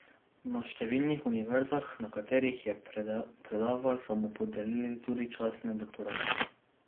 Na številnih univerzah, na katerih je predaval, so mu podelili tudi častne doktorate.